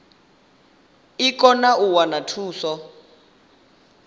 i kone u wana thuso